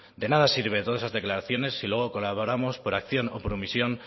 de nada sirven todas esas declaraciones si luego colaboramos por acción o por omisión